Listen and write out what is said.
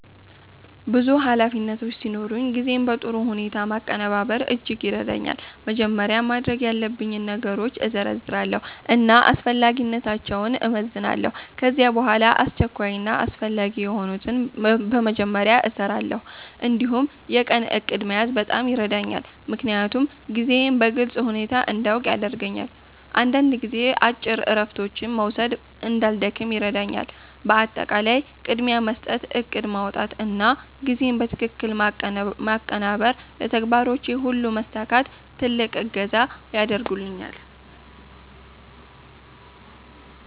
ብዙ ኃላፊነቶች ሲኖሩኝ ጊዜን በጥሩ ሁኔታ ማቀናበር እጅግ ይረዳኛል። መጀመሪያ ማድረግ ያለብኝን ነገሮች እዘርዝራለሁ እና አስፈላጊነታቸውን እመዝናለሁ። ከዚያ በኋላ አስቸኳይ እና አስፈላጊ የሆኑትን በመጀመሪያ እሰራለሁ። እንዲሁም የቀን እቅድ መያዝ በጣም ይረዳኛል፣ ምክንያቱም ጊዜዬን በግልጽ ሁኔታ እንዲያውቅ ያደርገኛል። አንዳንድ ጊዜ አጭር እረፍቶች መውሰድ እንዳልደክም ይረዳኛል። በአጠቃላይ ቅድሚያ መስጠት፣ እቅድ ማውጣት እና ጊዜን በትክክል ማቀናበር ለተግባሮቼ ሁሉ መሳካት ትልቅ እገዛ ያደርጉልኛል።